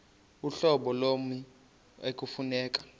uhlobo lommi ekufuneka